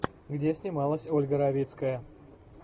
где снималась ольга равицкая